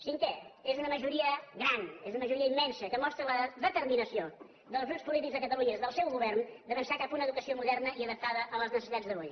cinquè és una majoria gran és una majoria immensa que mostra la determinació dels grups polítics de catalunya i del seu govern d’avançar cap a una educació moderna i adaptada a les necessitats d’avui